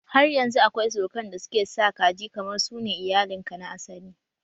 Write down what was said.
Har yanzu akwai surukan da suke sa kaji kamar su ne iyalin ka na asali